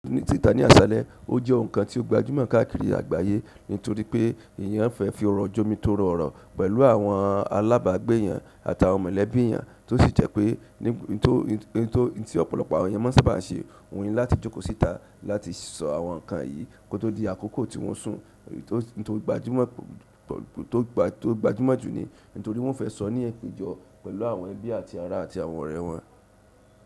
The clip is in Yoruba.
Ní títa ní àṣalẹ, ó jẹ́ ohun kan tí ó gbajúmọ̀ káàkiri àgbáyẹ́ nítorí pé èèyàn fẹ́ fí ọrọ̀ jomitoro ọ̀rọ̀ pẹ̀lú àwọn alábàgbé eeyan àtàwọn mọ̀lẹ́bí eeyan, tó sì jẹ́ pé ní ohun ti ọ̀pọ̀lọpọ̀ àwọn eeyan má n sábà n ṣe, òun ni láti jókòó síta. Láti sọ àwọn ǹnkan yìí kó tó di àkókò tí wọ́ n o sùn, tó gbajúmọ̀ jù ni, nítorí wọ́n o fẹ́ sọ ní ipejọ pẹ̀lú àwọn ẹbí àti ará àti àwọn ọ̀rẹ́ wọn.